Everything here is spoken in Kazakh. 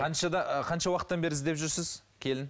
қаншада қанша уақыттан бері іздеп жүрсіз келін